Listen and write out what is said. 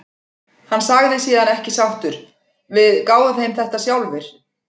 Hann sagði síðan ekki sáttur: Við gáfum þeim þetta sjálfir.